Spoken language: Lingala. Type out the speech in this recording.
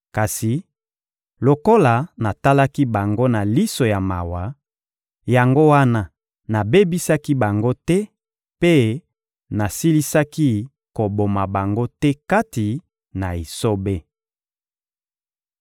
Kasi lokola natalaki bango na liso ya mawa, yango wana nabebisaki bango te mpe nasilisaki koboma bango te kati na esobe.